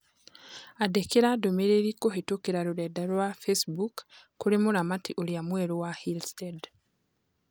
Andĩkra ndũmĩrĩri kũhĩtũkĩra rũrenda rũa rwa Facebook kũrĩ mũramati ũrĩa mwerũ wa Hillstead